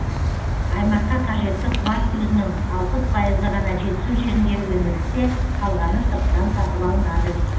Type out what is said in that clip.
аймаққа қажетті қуат көзінің алпыс пайызы ғана жетісу жерінде өндірілсе қалғаны сырттан сатып алынады